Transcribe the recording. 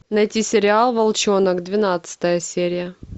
найти сериал волчонок двенадцатая серия